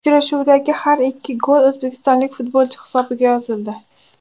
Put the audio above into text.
Uchrashuvdagi har ikki gol o‘zbekistonlik futbolchi hisobiga yozildi.